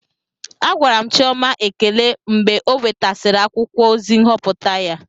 Agwara m Chioma ekele m mgbe ọ nwetasịrị akwụkwọ ozi nhọpụta ya